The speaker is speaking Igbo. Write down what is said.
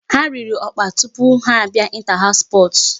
Ha riri ọkpa tupu ha abịa inter house sports.